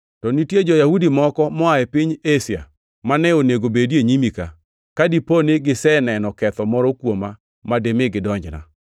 To nitie jo-Yahudi moko moa e piny Asia mane onego bedi e nyimi ka, ka dipo ni giseneno ketho moro kuoma ma dimi gidonjna,